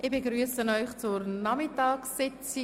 Ich begrüsse Sie zur Nachmittagssitzung.